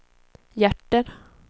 hjärter